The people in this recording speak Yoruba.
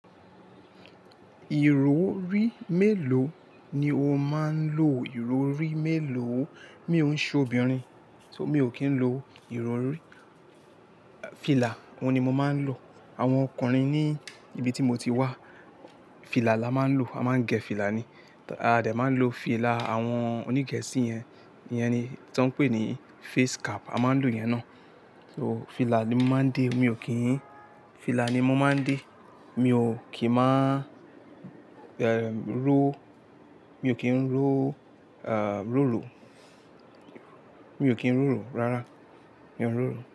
Ìrórí mélòó ni o máa ń lò? Ìrórí mélòó? Mi ò ń ṣe obìnrin, so mi ò kí ń lo ìrórí. Fìlà, òun ni mo máa ń lò. Àwọn ọkùnrin ní ibi tí mo ti wá, fìlà la máa ń lò. A máa ń gẹ fìlà ni. A dẹ̀ máa ń lo fìlà àwọn oní Gẹ̀ẹ́sì yẹn, yẹn ni tí wọ́n ń pè ní face cap, a máa ń lò yẹn náà. So fìlà ni mo máa ń dé, mi ò kí n Fìlà ni mo máa ń dé, mi ò kí máa, eh, ró, mi ò kí ń ró, ah, ròrò. Mi ò kí ń rúru rárá, mi ò ń rúru.